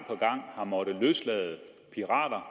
har måttet løslade pirater